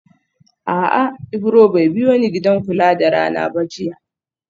A'a Ibro bai biyoni gidan kula da rana ba jiya